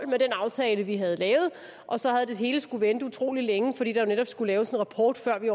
med den aftale vi havde lavet og så havde det hele skullet vente utrolig længe fordi der jo netop skulle laves en rapport før vi